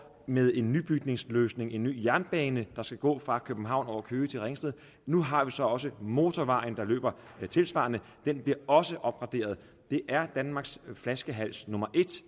med en nybygningsløsning en ny jernbane der skal gå fra københavn over køge til ringsted nu har vi så også motorvejen der løber tilsvarende den bliver også opgraderet det er danmarks flaskehals nummer